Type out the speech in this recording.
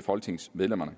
folketingsmedlemmerne